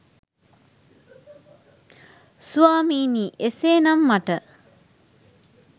ස්වාමිනි එසේනම් මට